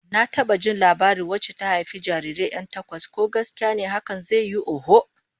Na taba jin labarin wacce ta haifi jarirai 'yan takwas, ko gaskiya ne hakan zai yiwu, oho.